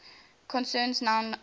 concerns noun endings